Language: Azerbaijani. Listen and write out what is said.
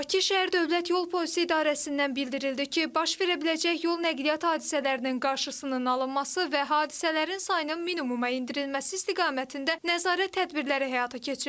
Bakı şəhər dövlət yol polisi idarəsindən bildirildi ki, baş verə biləcək yol nəqliyyat hadisələrinin qarşısının alınması və hadisələrin sayının minimuma endirilməsi istiqamətində nəzarət tədbirləri həyata keçirilir.